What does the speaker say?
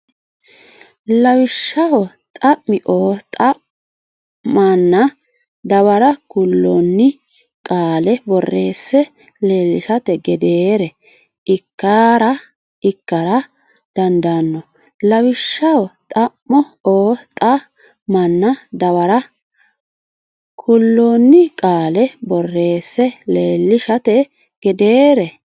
Lawishshaho xam o xa manna dawara kuloonni qaale borreesse leellishate gedeere ikkara dandaanno Lawishshaho xam o xa manna dawara kuloonni qaale borreesse leellishate gedeere.